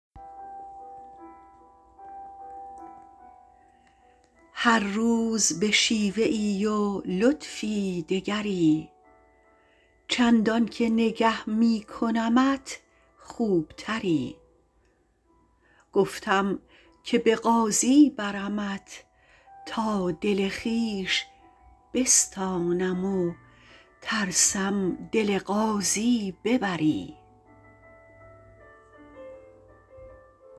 هر روز به شیوه ای و لطفی دگری چندانکه نگه می کنمت خوبتری گفتم که به قاضی برمت تا دل خویش بستانم و ترسم دل قاضی ببری